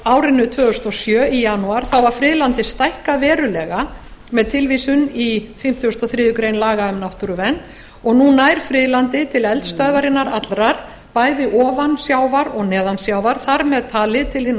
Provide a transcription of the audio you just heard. árinu tvö þúsund og sjö í janúar var friðlandið stækkað verulega með tilvísun í fimmtugasta og þriðju grein laga um náttúruvernd og nú nær friðlandið til eldstöðvarinnar allrar bæði ofan sjávar og neðan sjávar þar með talið til